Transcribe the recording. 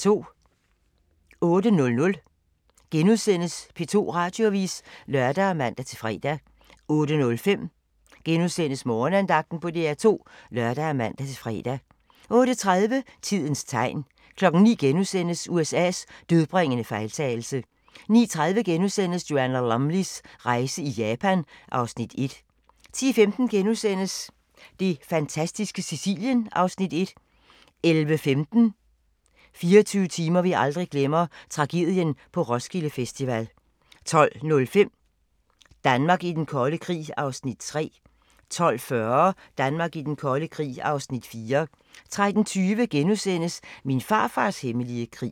08:00: P2 Radioavis *(lør og man-fre) 08:05: Morgenandagten på DR2 *(lør og man-fre) 08:30: Tidens tegn 09:00: USA's dødbringende fejltagelse * 09:30: Joanna Lumleys rejse i Japan (Afs. 1)* 10:15: Det fantastiske Sicilien (Afs. 1)* 11:15: 24 timer, vi aldrig glemmer - Tragedien på Roskilde Festival 12:05: Danmark i Den Kolde Krig (Afs. 3) 12:40: Danmark i Den Kolde Krig (Afs. 4) 13:20: Min farfars hemmelige krig *